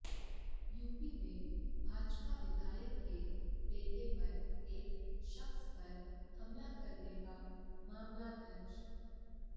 UP में भाजपा विधायक के बेटे पर एक शख्स पर हमला करने का मामला दर्ज